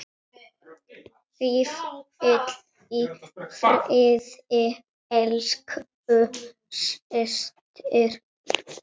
Hvíl í friði elsku systir.